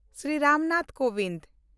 Shri Ram Nath Kovind